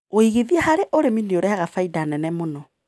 Wĩigithia harĩ ũrĩmi nĩũrehaga bainda nene mũno.